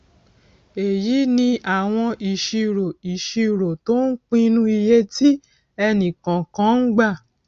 èyí ni àwọn ìṣirò ìṣirò tó ń pinu iye tí ẹnì kọọkan ń gbà